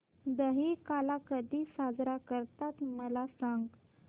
दहिकाला कधी साजरा करतात मला सांग